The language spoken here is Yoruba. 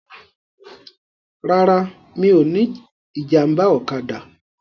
Rárá, mi ò ní ìjàmbá ọ̀kadà.